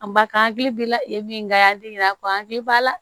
An ba kan hakili b'i la yen min ka di ɲinɛ a kɔ hakili b'a la